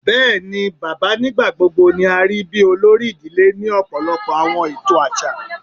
Bẹẹni, baba nigbagbogbo ni a rii bi olori idile ni ọpọlọpọ awọn eto aṣa